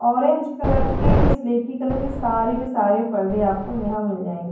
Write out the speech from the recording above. Orange colour की colour की सारे के सारे परदे आपको यहां मिल जाएंगे।